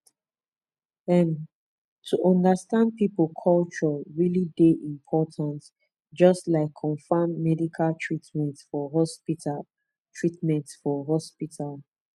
em to understand people culture really dey important just like confam medical treatment for hospital treatment for hospital